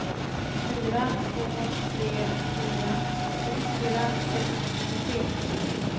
fyra två tre fyra sjuttiofyra sexhundrasjuttiotre